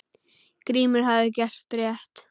Grímur hafði gert rétt.